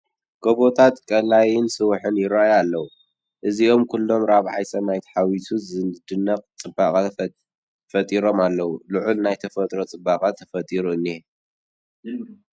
ጐቦታት፣ ቀላይን ሰውሕን ይርአዩ ኣለዉ፡፡ እዞኦም ኩሎም ራብዓዮም ሰማይ ተሓዊሱም ዝድነቅ ፅባቐ ፈጢሮም ኣለዉ፡፡ ልዑል ናይ ተፈጥሮ ፅባቐ ተፈጢሩ እኒሀ፡፡